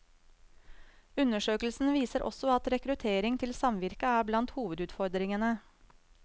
Undersøkelsen viser også at rekruttering til samvirket er blant hovedutfordringene.